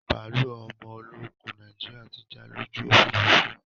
Bàálú ọmọ ológun Nàìjíríà tí já lójú Òfurufú